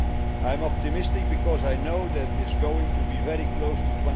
I am optimistic because I know it is going to be very close